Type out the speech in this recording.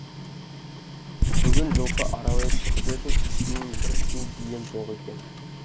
бүгін жылқы аралай шығып едім ішінен бір ту бием жоқ екен